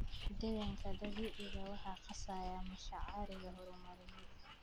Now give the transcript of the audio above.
Deegaanka dabiiciga ah waxaa qasaya mashaariicda horumarineed.